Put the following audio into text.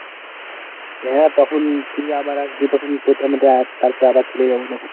হ্যাঁ তখন তুই আবার আসবি তখন তোকে আমি তারপর আবার চলে যাব তখন।